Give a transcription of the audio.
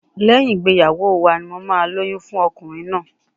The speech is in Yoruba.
Lẹ́yìn ìgbéyàwó wa ni mo máa lóyún fún ọkùnrin náà.